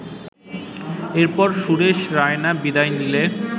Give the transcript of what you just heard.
এরপর সুরেশ রায়না বিদায় নিলে